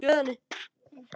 Söngur er ákveðin list.